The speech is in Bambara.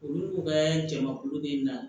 Olu ko ka jamakulu bɛ na